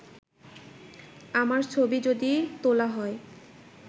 “আমার ছবি যদি তোলা হয়